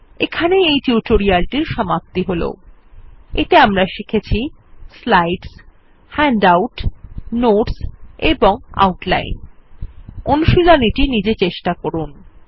এখানেই এই টিউটোরিয়াল টির সমাপ্তি হল এতে আমরা শিখেছি স্লাইডস হ্যান্ডআউটস নোটস এবং আউটলাইন অনুশীলনী টি নিজে চেষ্টা করুন